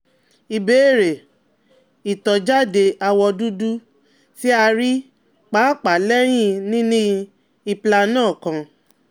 Ìbéèrè: Itọjade awọ dudu ti a rii paapaa lẹhin nini Implanon kan